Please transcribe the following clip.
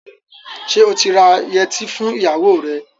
Ṣé ó ti ra yẹtí fún ìyàwó rẹ̀?